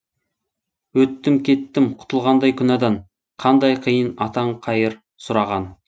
өттім кеттім құтылғандай күнәдан қандай қиын атаң қайыр сұраған